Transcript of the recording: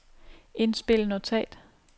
indspil notat